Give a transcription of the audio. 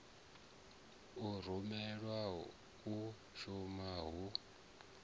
u rumelwa u shuma hu